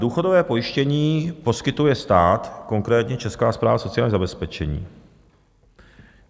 "Důchodové pojištění poskytuje stát, konkrétně Česká správa sociálního zabezpečení.